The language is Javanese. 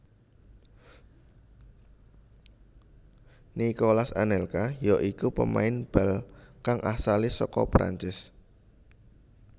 Nicolas Anelka ya iku pemain bal kang asale saka Perancis